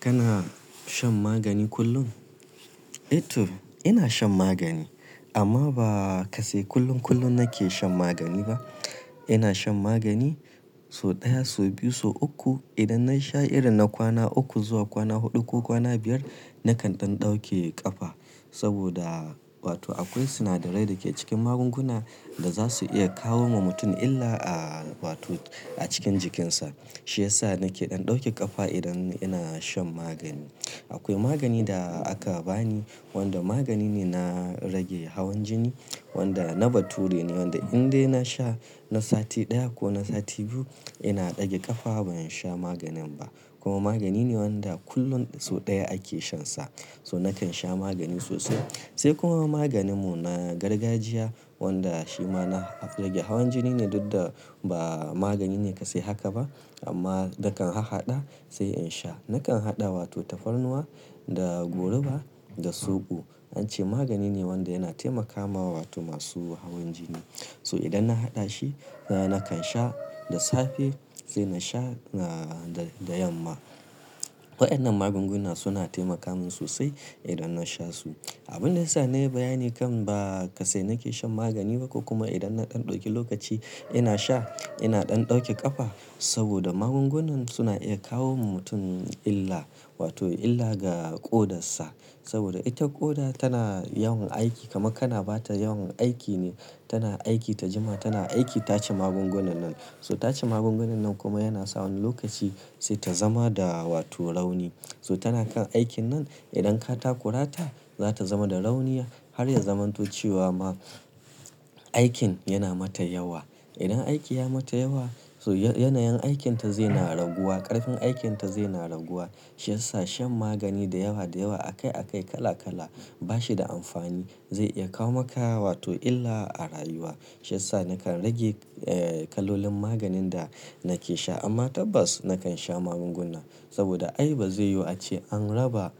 Kana shan magani kullum? Eh to ina shan magani amma ba kasai kullum kullum nake shan magani ba. Ina shan magani so ɗaya, so biyu, so uku. Idan na sha irin na kwana uku zuwa kwana huɗu ko kwana biyar nakan ɗan ɗauke ƙafa saboda wato akwai sinadarai da ke cikin magunguna da zasu iya kawo wa mutum illa a wato a cikin jikinsa. Shi yasa nake ɗan ɗauke ƙafa idan ina shan magani. Akwai magani da aka bani wanda magani ne na rage hawan jini wanda na bature ne wanda in dai na sha na sati ɗaya ko na sati biyu ina ɗage ƙafa ban sha maganin ba. Kuma magani ne wanda kullum so ɗaya ake shansa. So nakan sha magani sosai. Sai kuma maganin mu na gargajiya wanda shi ma na rage hawan jini ne duk da ba magani ne kasai haka ba amma dakan hahaɗa sai in sha. Nakan haɗa wato tafarnuwa da goruba da soɓo. An ce magani ne wanda yana taimakawa wato masu hawan jini. So idan na haɗa shi, nakan sha da safe sai na sha, ah, da, da yamma. Waɗannan magunguna suna taimaka min sosai idan na sha su. Abun da ya sa na yi bayani kan ba kasai nake shan magani ba kuma idan na ɗan ɗauki lokaci ina sha ina ɗan ɗauke ƙafa saboda magungunan suna iya kawo wa mutum illa wato illa ga ƙodarsa. Saboda ita ƙoda tana yawan aiki kamar kana ba ta yawan aiki ne. Tana aiki ta jima'a, tana aiki ta ci magungunan nan. So ta ci magungunan nan kuma yana sa wani lokaci sai ta zama da wato rauni. So tana kan aikin nan. Idan ka takurata za ta zama da rauniya har ya zamanto cewa ma aikin yana mata yawa. Idan aiki ya mata yawa so yanayin aikinta zai na raguwa, ƙarfin aikinta zai na raguwa. Shi yasa shan magani da yawa da yawa a kai a kai kala kala ba shi da amfani. Zai iya kawo maka wato illa a rayuwa. Shi yasa nakan rage, eh, kalolin maganin da nake sha amma tabbas nakan sha magunguna saboda ai bazai yiwu ace an raba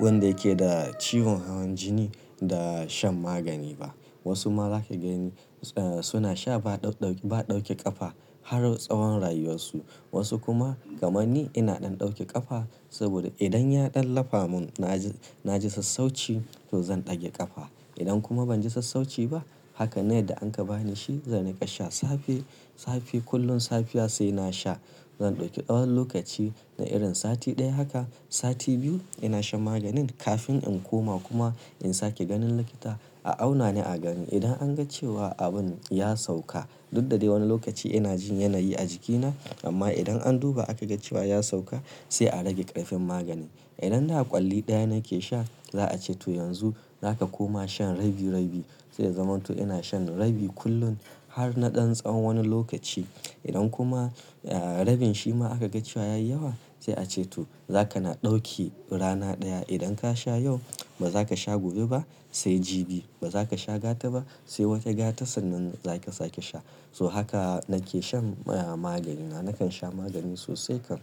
wanda yake da ciwon hawan jini da shan magani ba. Wasu ma zaka gani, eh, suna sha ba ɗau, ba ɗauke ƙafa har na tsawon rayuwarsu. Wasu kuma kamar ni ina ɗan ɗauke ƙafa saboda idan ya ɗan lafa mun na ji, na ji sassauci to zan ɗage ƙafa. Idan kuma ban ji sassauci ba hakan ne yadda an ka ba ni shi zan riƙa sha safe, safe kullum safiya sai na sha. Zan ɗauki tsawon lokaci na irin sati ɗaya haka sati biyu ina shan maganin kafin in koma kuma in sake ganin likita a auna ni a gani. Idan an ga cewa abun ya sauka duk da dai wani lokaci ina jin yanayi a jikina amma idan an duba aka ga cewa ya sauka sai a rage ƙarfin magani. Idan da ƙwalli ɗaya nake sha za a ce to yanzu za ka koma shan rabi rabi sai ya zamanto ina shan rabi kullum har na ɗan tsawon wani lokaci. Idan kuma, eh, rabin shi ma aka ga cewa ya yi yawa sai a ce to za ka na ɗauki rana ɗaya. Idan ka sha yau ba za ka sha gobe ba sai jibi. Ba za ka sha gata ba sai wata gata sannan za ka sake sha. So haka nake shan magani na. Nakan sha magani sosai kan.